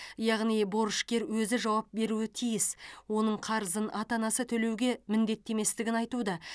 яғни борышкер өзі жауап беруі тиіс оның қарызын ата анасы төлеуге міндетті еместігін айтуда